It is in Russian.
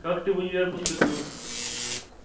как ты в универ поступил